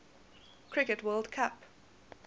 cricket world cup